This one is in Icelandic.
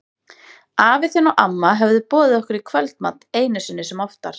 Afi þinn og amma höfðu boðið okkur í kvöldmat, einu sinni sem oftar.